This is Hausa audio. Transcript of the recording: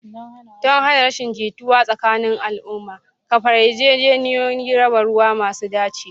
Don hana rashin jituwa tsakanin al'umma, kafa yarjejeniyoyin raba ruwa masu dacewa.